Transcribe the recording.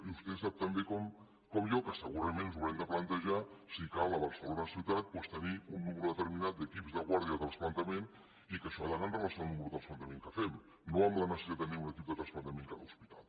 i vostè sap tan bé com jo que segurament ens haurem de plantejar si cal a barcelona ciutat doncs tenir un nombre determinat d’equips de guàrdia de transplantament i que això ha d’anar amb relació al número de transplantaments que fem no amb la necessitat de tenir un equip de transplantament a cada hospital